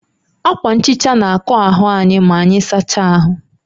Akwa nhicha na akọ́ ahụ anyị maanyị sacha ahụ